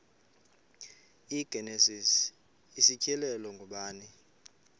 igenesis isityhilelo ngubani